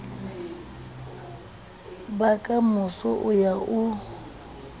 ba kamoso o ya o